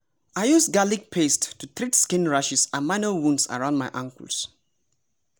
i use garlic paste to treat skin rashes and minor wounds around my ankles.